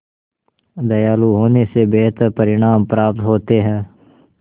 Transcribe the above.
दयालु होने से बेहतर परिणाम प्राप्त होते हैं